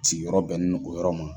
Sigiyɔrɔ bɛnnen don o yɔrɔ ma.